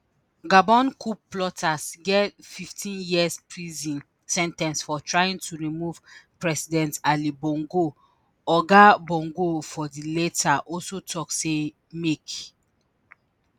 gabon coup plotters get 15 years prison sen ten ce for trying to remove president ali bongo oga bongo for di letter also tok say make